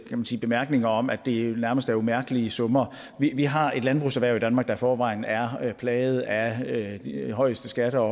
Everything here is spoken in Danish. man sige bemærkninger om at det nærmest er umærkelige summer vi har et landbrugserhverv i danmark der i forvejen er plaget af de højeste skatter og